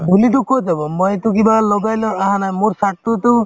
ধূলিতো ক'ত যাব মইতো কিবা লগাই লৈ আহা নাই মোৰ shirt টোতো